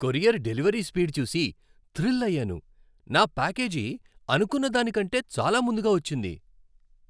Courier delivery speed చూసి thrill అయ్యాను. నా ప్యాకేజీ అనుకున్న దానికంటే చాలా ముందుగా వచ్చింది!